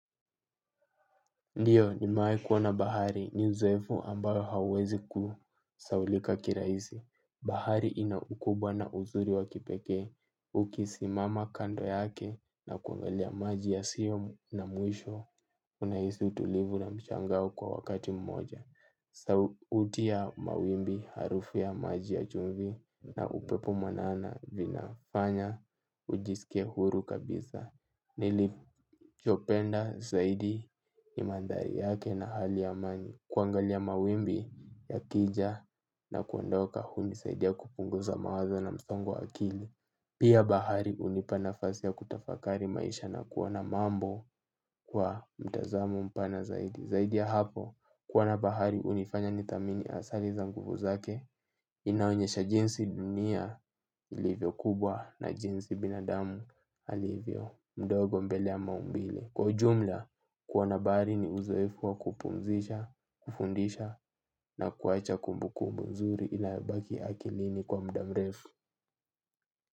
Ndiyo, nimewahi kuona bahari, ni uzoefu ambao hauwezi kusahaulika kirahisi. Bahari ina ukubwa na uzuri wa kipekee, ukisimama kando yake na kuangalia maji yasiyo na mwisho unahisi utulivu na mshangao kwa wakati mmoja. Sauti ya mawimbi, harufu ya maji ya chumvi na upepo mwanana vinafanya ujisike huru kabisa. Nilichopenda zaidi nimaandhari yake na hali ya amani. Kuangalia mawimbi yakija na kuondoka hunisaidia kupunguza mawazo na msongo wa akili. Pia bahari hunipa nafasi ya kutafakari maisha na kuangalia mambo kwa mtazamo mpana zaidi zaidi ya hapo, kuona bahari hunifanya nitamani asali za nguvu zake. Inaonyesha jinsi dunia ilivyo kubwa na jinsi binadamu alivyo mdogo mbele ya maumbile. Kwa ujumla, kuona bahari ni uzoefu wa kupunzisha, kufundisha na kuwacha kumbukumbu nzuri inayobaki akilini kwa muda mrefu.